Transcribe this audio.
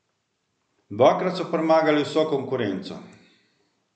Dvakrat so premagali vso konkurenco.